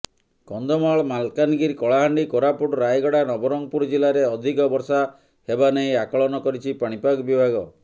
କନ୍ଧମାଳ ମାଲକାନଗିରି କଳହାଣ୍ଡି କୋରାପୁଟ ରାୟଗଡା ନବରଙ୍ଗପୁର ଜିଲ୍ଲାରେ ଅଧିକ ବର୍ଷା ହେବାନେଇ ଆକଳନ କରିଛି ପାଣିପାଗ ବିଭାଗ